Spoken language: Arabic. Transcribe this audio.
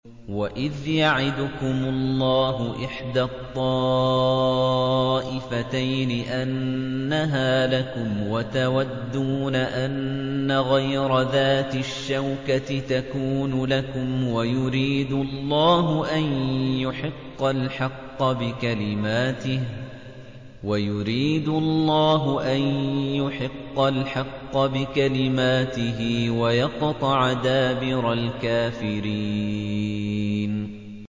وَإِذْ يَعِدُكُمُ اللَّهُ إِحْدَى الطَّائِفَتَيْنِ أَنَّهَا لَكُمْ وَتَوَدُّونَ أَنَّ غَيْرَ ذَاتِ الشَّوْكَةِ تَكُونُ لَكُمْ وَيُرِيدُ اللَّهُ أَن يُحِقَّ الْحَقَّ بِكَلِمَاتِهِ وَيَقْطَعَ دَابِرَ الْكَافِرِينَ